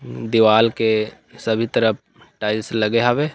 उँ दीवाल के सभी तरफ टाइल्स लगे हवे।